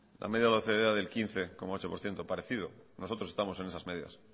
la media de la ocde era del quince coma ocho por ciento parecido nosotros estamos en esas medias